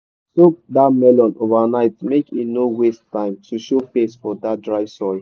soak that melon overnight make e no waste time to show face for that dry soil.